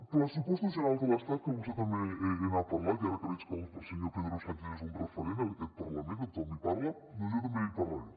pressupostos generals de l’estat que vostè també n’ha parlat i ara que veig que el senyor pedro sánchez és un referent en aquest parlament que tothom en parla doncs jo també en parlaré